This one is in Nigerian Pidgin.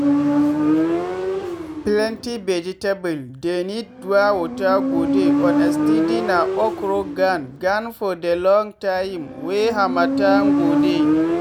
plenty vegetable dey need where water go dey on a steady na okro gan ganfor de long time wey harmattan go dey.